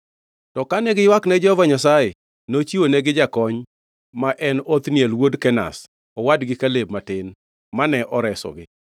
To kane giywakne Jehova Nyasaye, nochiwonegi jakony, ma en Othniel wuod Kenaz, owadgi Kaleb matin, mane oresogi.